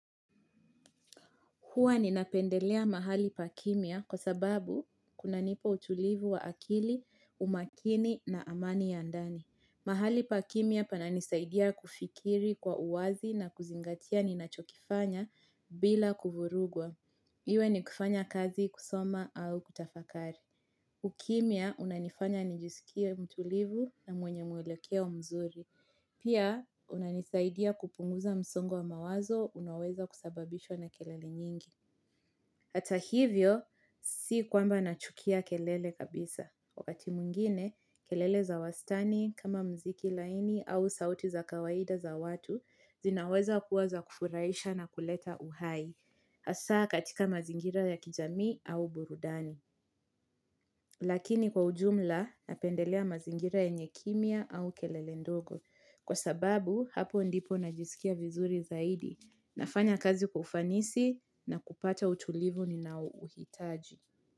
Huwa ninapendelea mahali pakimya kwa sababu kunanipa utulivu wa akili, umakini na amani ya ndani. Mahali pakimya pananisaidia kufikiri kwa uwazi na kuzingatia ninachokifanya bila kuvurugwa. Iwe ni kufanya kazi kusoma au kutafakari. Ukimya unanifanya nijisikie mtulivu na mwenye mwelekeo mzuri. Pia unanisaidia kupunguza msongo wa mawazo unaoweza kusababishwa na kelele nyingi. Hata a hivyo, si kwamba nachukia kelele kabisa. Wakati mwengine, kelele za wastani, kama mziki laini au sauti za kawaida za watu, zinaweza kuwa za kufuraisha na kuleta uhai, hasa katika mazingira ya kijamii au burudani. Lakini kwa ujumla napendelea mazingira yenye kimya au kelele ndogo. Kwa sababu hapo ndipo najisikia vizuri zaidi. Nafanya kazi kwa ufanisi na kupata utulivu ninaouhitaji.